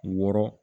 Wɔɔrɔ